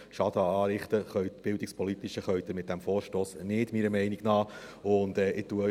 Bildungspolitischen Schaden können Sie mit diesem Vorstoss, meiner Meinung nach, nicht anrichten.